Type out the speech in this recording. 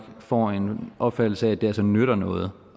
får en opfattelse af at det altså nytter noget